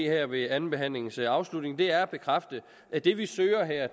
her ved andenbehandlingens afslutning er at bekræfte at det vi søger her